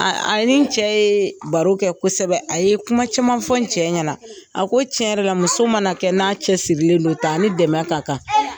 A a ni cɛ yeee baro kɛ kosɛbɛ, a ye kuma caman fɔ n cɛ ɲɛna, a ko tiɲɛ yɔrɔ la muso mana kɛ n'a cɛ sirilen don tan a ni dɛmɛ ka kan.